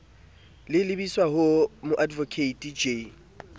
le lebiswa ho moadvokate j